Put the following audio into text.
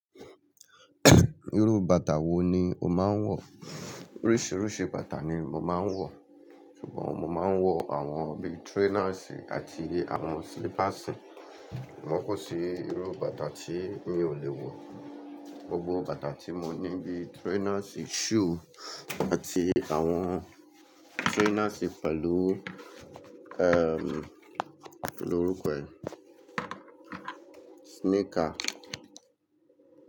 Irú bàtà wo ni o máa ń wọ̀? Oríṣiiríṣii bàtà ni mo máa ń wọ̀, ṣùgbọ́n mo máa ń wọ àwọn bíi trainers àti àwọn slippers. Sugbon kò sí irú bàtà tí mi ò lè wọ̀. Gbogbo bàtà tí mo ní bíi trainers, shoe àti àwọn trainers pẹ̀lú kí ni orúkọ ẹ̀? Sneaker.